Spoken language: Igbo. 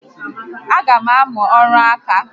A gam amụ ọrụ ǹkà